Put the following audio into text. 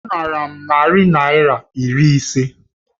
Ọ nara m narị naira iri ise